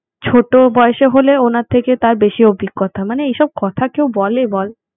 ছোট বয়সে হলে ওনার থেকে তার বেশি অভিজ্ঞতা মানে, এসব কথা কেউ বলে বল